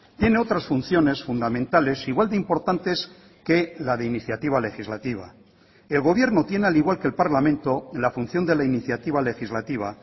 tiene otras funciones fundamentales igual de importantes que la de iniciativa legislativa el gobierno tiene al igual que el parlamento la función de la iniciativa legislativa